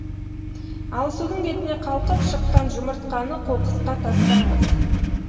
ал судың бетіне қалқып шыққан жұмыртқаны қоқысқа тастаңыз